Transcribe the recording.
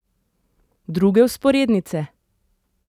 Druge vzporednice?